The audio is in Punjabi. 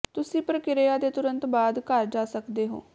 ਤੁਸੀਂ ਪ੍ਰਕਿਰਿਆ ਦੇ ਤੁਰੰਤ ਬਾਅਦ ਘਰ ਜਾ ਸਕਦੇ ਹੋ